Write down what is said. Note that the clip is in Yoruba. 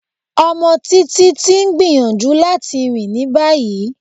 Ọmọ Títitì ń gbíyanjú latí rin ní báyì.